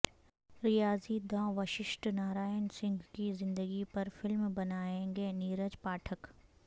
ریاضی داں وششٹھ نارائن سنگھ کی زندگی پر فلم بنائیں گے نیرج پاٹھک